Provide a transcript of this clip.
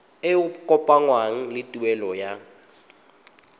e kopanngwang le tuelo ya